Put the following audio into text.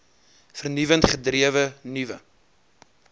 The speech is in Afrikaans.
vernuwend gedrewe nuwe